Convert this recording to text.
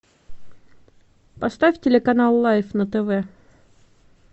поставь телеканал лайф на тв